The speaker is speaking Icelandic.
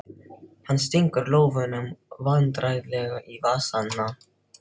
Hann stingur lófunum vandræðalega í vasana.